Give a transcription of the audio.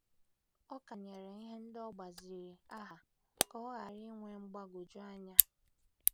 Ọ kanyere ihe ndị o gbaziri aha ka ọ ghara inwe mgbagwoju anya.